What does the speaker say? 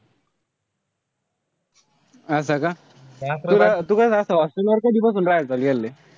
असं का. त तू असं hostel वर कधीपासून राहायला गेला?